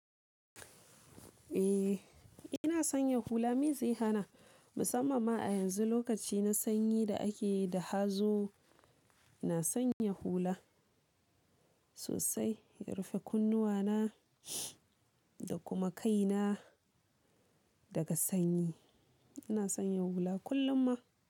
Eh, ina son yin hula. Me zai hana? Musamman ma a yanzu lokaci na sanyi da ake da hazo, ina son yin hula sosai. Ya rufe kunnuwana da kuma kaina daga sanyi. Ina son yin hula kullum ma.